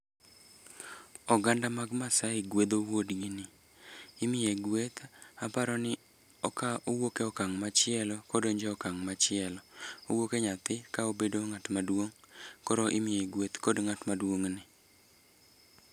Oganda mag Maasai gwedho wuodgi ni, imiye gweth, aparo ni owuok e okang' machielo kodonje okang' machielo. Owuok e nyathi ka obedo ng'at maduong', koro imiye gweth kod ng'at maduong' ne